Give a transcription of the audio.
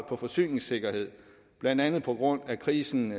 på forsyningssikkerhed blandt andet på grund af krisen